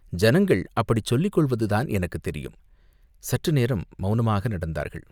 ஜனங்கள் அப்படிச் சொல்லிக் கொள்வதுதான் எனக்குத் தெரியும்." சற்று நேரம் மௌனமாக நடந்தார்கள்.